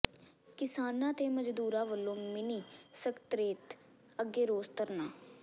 ਕਿਸਾਨਾਂ ਤੇ ਮਜ਼ਦੂਰਾਂ ਵੱਲੋਂ ਮਿੰਨੀ ਸਕੱਤਰੇਤ ਅੱਗੇ ਰੋਸ ਧਰਨਾ